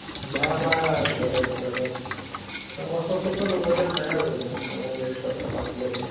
মা আমাৰ ঘৰতে ঘৰতে অলপ, কষ্ট চষ্ট কৰিব দিয়া নাই আৰু মন অকন rest ত থকা নিছিনাকে